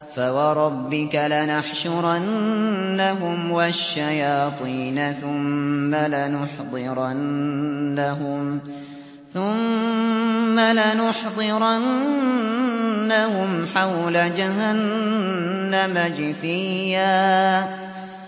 فَوَرَبِّكَ لَنَحْشُرَنَّهُمْ وَالشَّيَاطِينَ ثُمَّ لَنُحْضِرَنَّهُمْ حَوْلَ جَهَنَّمَ جِثِيًّا